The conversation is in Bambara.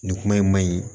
Nin kuma in ma ɲi